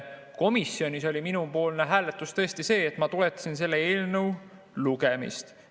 Komisjonis ma tõesti toetasin selle eelnõu lugemist.